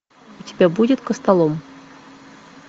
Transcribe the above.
у тебя будет костолом